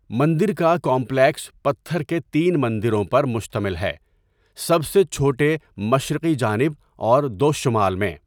مندر کا کمپلیکس پتھر کے تین مندروں پر مشتمل ہے، سب سے چھوٹے مشرقی جانب اور دو شمال میں۔